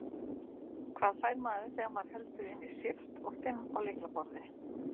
Hvað fær maður þegar maður heldur inni Shift og fimm á lyklaborði?